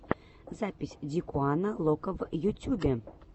запись дикуана локо в ютюбе